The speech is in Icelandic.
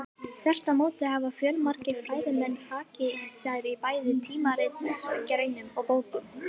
Þvert á móti hafa fjölmargir fræðimenn hrakið þær í bæði tímaritsgreinum og bókum.